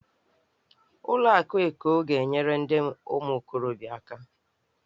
Ụlọ akụ Eko ga-enyere ndị ụmụ okorobịa aka.